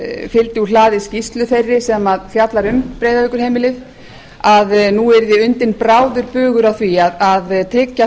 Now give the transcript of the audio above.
fylgdi úr hlaði skýrslu þeirri sem fjallar um breiðavíkurheimilið að nú yrði undinn bráður bugur að því að tryggja